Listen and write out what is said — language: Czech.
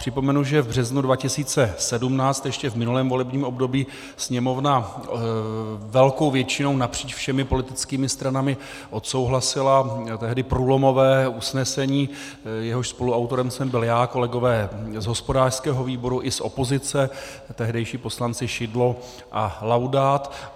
Připomenu, že v březnu 2017, ještě v minulém volebním období, Sněmovna velkou většinou napříč všemi politickými stranami odsouhlasila tehdy průlomové usnesení, jehož spoluautorem jsem byl já, kolegové z hospodářského výboru i z opozice, tehdejší poslanci Šidlo a Laudát.